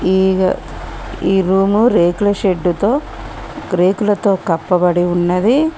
ఈగ ఈ రూము రేకుల షెడ్డుతో రేకులతో కప్పబడి ఉన్నది.